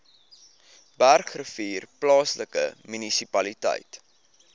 bergrivier plaaslike munisipaliteit